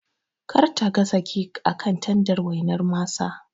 Kar ta gasa kek akan tandar waina masa